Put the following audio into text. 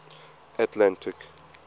atlantic